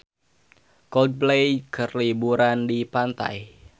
Coldplay keur liburan di pantai